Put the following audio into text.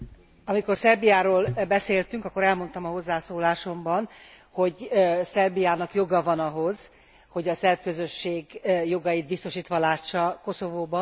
Amikor Szerbiáról beszéltünk, akkor elmondtam a hozzászólásomban, hogy Szerbiának joga van ahhoz, hogy a szerb közösség jogait biztosítva lássa Koszovóban.